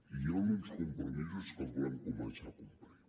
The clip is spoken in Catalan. i hi han uns compromisos que els volem començar a complir